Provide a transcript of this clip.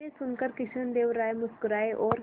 यह सुनकर कृष्णदेव राय मुस्कुराए और